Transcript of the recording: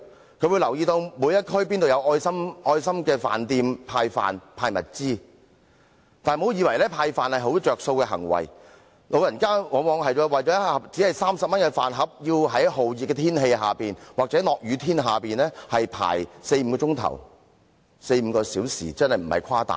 他們會留意哪一區有愛心飯店派飯和派物資，但不要以為派飯是一種有便宜可撿的行為，因為長者往往為了一盒只值30元的飯而要在酷熱天氣或下雨天排隊輪候四五個小時，並無誇大。